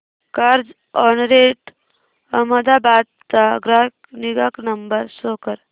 Carzonrent Ahmedabad चा ग्राहक निगा नंबर शो कर